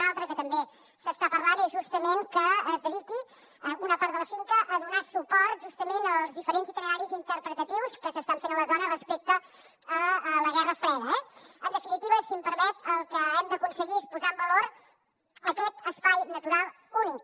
una altra que també s’està parlant és justament que es dediqui una part de la finca a donar suport justament als diferents itineraris interpretatius que s’estan fent a la zona respecte a la guerra freda eh en definitiva si m’ho permet el que hem d’aconseguir és posar en valor aquest espai natural únic